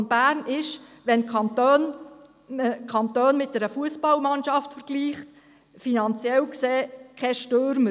Der Kanton Bern ist, wenn man den Kanton mit einer Fussballmannschaft vergleicht, finanziell gesehen kein Stürmer.